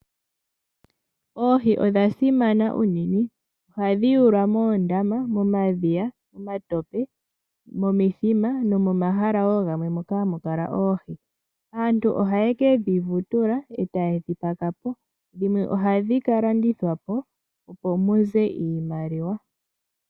Oohi odha simana unene ohadhi yawulwa moondama, momadhiya, momatope ,momithima nomomahala gamwe moka hamu kala oohi. Aantu ohaye kedhi vutula etaye dhi pakapo dhimwe ohadhi ka landithwa po opo muze iimaliwa.